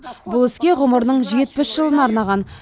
бұл іске ғұмырының жетпіс жылын арнаған